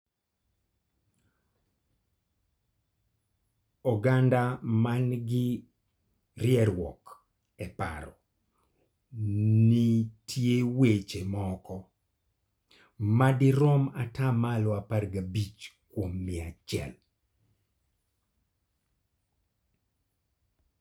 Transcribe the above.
Oganda ma nigi rieruok e paro nitie e weche moko (ma dirom ata malo apr gi abich kuom mia achiel).